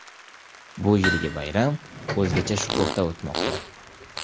Bu yilgi bayram o‘zgacha shukuhda o‘tmoqda.